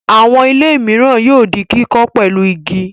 Àwọn ilé mìíràn yóò di kíkọ́ pẹ̀lú igi.